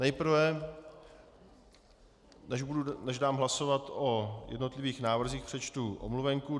Nejprve, než dám hlasovat o jednotlivých návrzích, přečtu omluvenku.